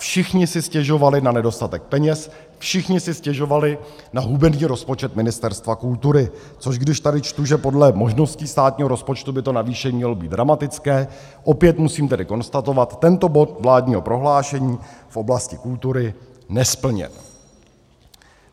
Všichni si stěžovali na nedostatek peněz, všichni si stěžovali na hubený rozpočet Ministerstva kultury, což když tady čtu, že podle možností státního rozpočtu by to navýšení mělo být dramatické, opět musím tedy konstatovat: tento bod vládního prohlášení v oblasti kultury nesplněn.